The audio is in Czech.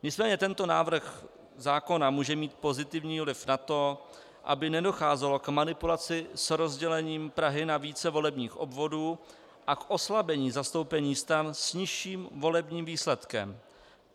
Nicméně tento návrh zákona může mít pozitivní vliv na to, aby nedocházelo k manipulaci s rozdělením Prahy na více volebních obvodů a k oslabení zastoupení stran s nižším volebním výsledkem.